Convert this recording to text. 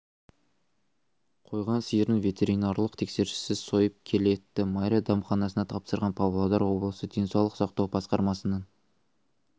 қойған сиырын ветеринарлық тексеріссіз сойып келі етті майра дәмханасына тапсырған павлодар облысы денсаулық сақтау басқармасының